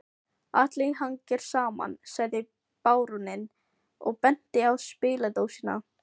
Allt hangir saman, sagði baróninn og benti á spiladósina